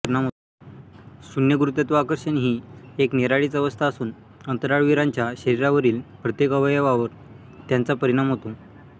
शून्य गुरुत्वाकर्षण ही एक निराळीच अवस्था असून अंतराळवीरांच्या शिरिरावरील प्रत्येक अवयवावर त्याच्या परिणाम होतो